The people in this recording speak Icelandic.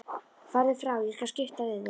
Farðu frá, ég skal skipta við þig.